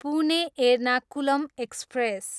Pune, Ernakulam express